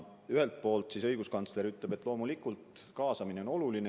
Ühelt poolt õiguskantsler ütleb, et loomulikult kaasamine on oluline.